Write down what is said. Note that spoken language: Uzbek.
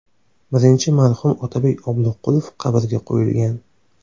Birinchi marhum Otabek Obloqulov qabrga qo‘yilgan.